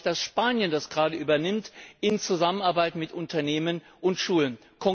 Ich freue mich, dass Spanien das gerade übernimmt in Zusammenarbeit mit Unternehmen und Schulen.